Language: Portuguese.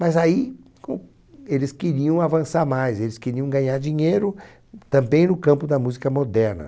Mas aí com eles queriam avançar mais, eles queriam ganhar dinheiro também no campo da música moderna.